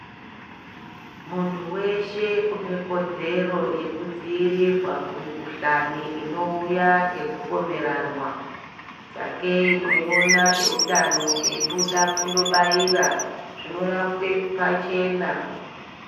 Muntu weshe unekodzero yekudziirirwa kumikuhlani inouya nekupomeranwa sakei mweiona eiutano eibuda kundobaira zvinorapwe pachena.